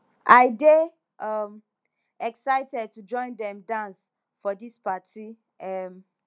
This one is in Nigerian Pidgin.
i dey um excited to join dem dance for dis party um